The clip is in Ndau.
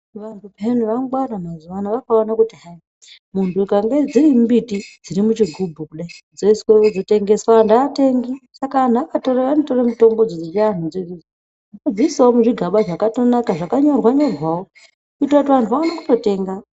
Vantu payanai vangwara mazuwa anaa vakaone kuti hai muntu ukange dsiri mumbiti dziri muchigubhu kudayi dzoswe ozotengeswa antu aatengi saka antu akatore anotore mitombo dzo dzechianhu dzodzo odziisawo muzvigaba zvakatonaka zvakanyorwa nyorwawo kuitira kuti vantu aone kutotenga.